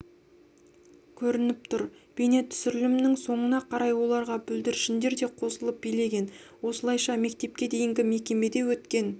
көрініп тұр бейнетүсірілімнің соңына қарай оларға бүлдіршіндер де қосылып билеген осылайша мектепке дейінгі мекемеде өткен